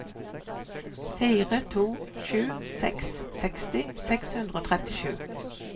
fire to sju seks seksti seks hundre og trettisju